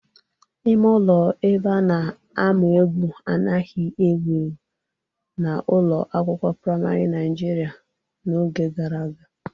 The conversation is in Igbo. Ime ụlọ ebe a na-amụ egwu anaghị ewu ewu n'ụlọ akwụkwọ praịmarị Naijiria n'oge gara aga